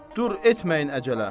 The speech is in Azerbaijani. Dur etməyin əcələm.